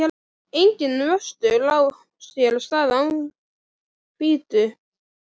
Enginn vöxtur á sér stað án hvítu.